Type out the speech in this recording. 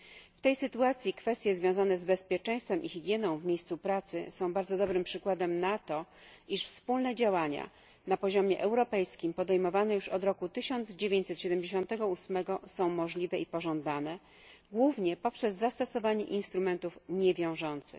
W tej sytuacji kwestie związane z bezpieczeństwem i higieną w miejscu pracy są bardzo dobrym przykładem na to, że wspólne działania na poziomie europejskim podejmowane już od roku 1978 są możliwe i pożądane głównie poprzez zastosowanie instrumentów niewiążących.